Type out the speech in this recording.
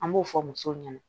An b'o fɔ musow ɲɛna